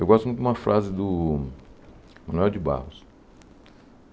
Eu gosto muito de uma frase do Manuel de Barros.